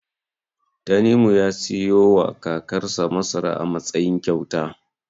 Tanimu ya siyowa kakarsa masara a matsayin kyauta.